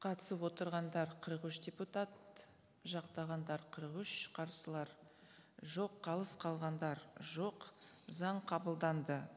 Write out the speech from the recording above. қатысып отырғандар қырық үш депутат жақтағандар қырық үш қарсылар жоқ қалыс қалғандар жоқ заң қабылданды